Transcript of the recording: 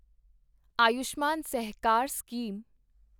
Ayushman Sahakar scheme